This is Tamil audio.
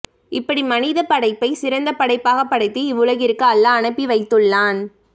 இப்படி மனிதப் படைப்பை சிறந்த படைப்பாகப் படைத்து இவ்வுலகிற்கு அல்லாஹ் அனுப்பி வைத்துள்ளான்